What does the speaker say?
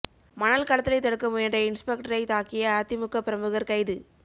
மணல் கடத்தலை தடுக்க முயன்ற இன்ஸ்பெக்டரை தாக்கிய அதிமுக பிரமுகர் கைது